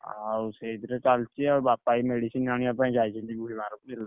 ଆଉ ସେଇଥିରେ ଚାଲିଛି ଆଉ ବାପା ଏଇ medicine ଆଣିବା ପାଇଁ ଯାଇଛନ୍ତି ।